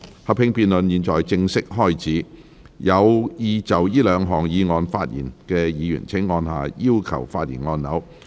合併辯論現在開始，有意就這兩項議案發言的議員請按下"要求發言"按鈕。